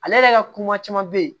Ale yɛrɛ ka ko ma caman be yen